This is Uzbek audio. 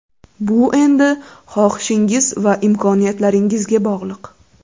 Bu endi xohishingiz va imkoniyatlaringizga bog‘liq.